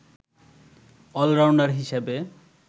allrounder হিসাবে